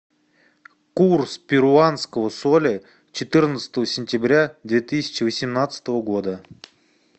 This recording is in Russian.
курс перуанского соля четырнадцатого сентября две тысячи восемнадцатого года